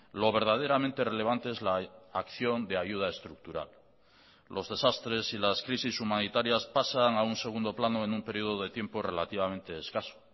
lo verdaderamente relevante es la acción de ayuda estructural los desastres y las crisis humanitarias pasan a un segundo plano en un periodo de tiempo relativamente escaso